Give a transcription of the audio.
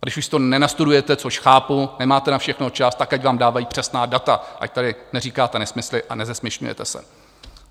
A když už si to nenastudujete, což chápu, nemáte na všechno čas, tak ať vám dávají přesná data, ať tady neříkáte nesmysly a nezesměšňujete se.